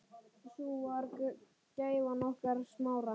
Sú var gæfan okkar Smára.